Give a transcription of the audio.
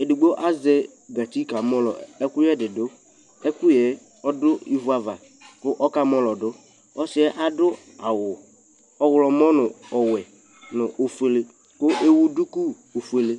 ɛdigbɔ azɛ gatsi ka mɔlɔ ɛkʋyɛ didʋ, ɛkʋyɛ ɔdʋ ivʋ ava kʋ ɔka mɔlɔdʋ, ɔsiiɛ adʋ awʋ ɔwlɔmɔ nʋ ɔwɛ nʋ ɔƒʋɛlɛ kʋ ɛwʋ dʋkʋ ɔƒʋɛlɛ